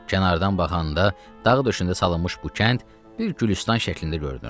Kənardan baxanda dağ döşündə salınmış bu kənd bir Gülüstan şəklində görünürdü.